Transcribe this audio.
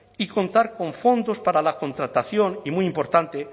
y contar con fondos para la contratación y muy importante